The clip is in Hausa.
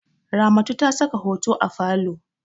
Ramatu ta saka hoto a falo.